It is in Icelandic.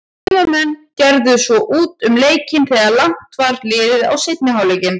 Heimamenn gerðu svo út um leikinn þegar langt var liðið á seinni hálfleikinn.